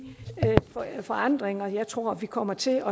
forandringer jeg tror vi kommer til